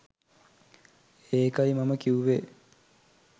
ඒකයි මම කිව්වෙ